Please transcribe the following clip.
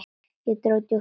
Ég dró djúpt inn andann.